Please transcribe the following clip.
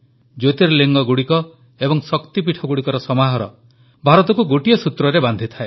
ଜ୍ୟୋର୍ତିଲିଙ୍ଗଗୁଡ଼ିକ ଏବଂ ଶକ୍ତିପୀଠଗୁଡ଼ିକର ସମାହାର ଭାରତକୁ ଗୋଟିଏ ସୂତ୍ରରେ ବାନ୍ଧିଥାଏ